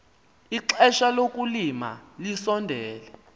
ixesha lokulima lisondele